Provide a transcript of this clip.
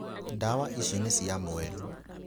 Ndawa ici nĩ cia mweri.